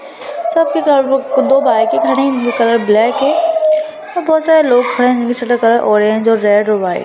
सबके कलर दो बाइक खड़ी हैं। जिनके कलर ब्लैक हैं और बोहोत सारे लोग खड़े हैं। जिसके कलर ऑरेंज रेड और व्हाइट --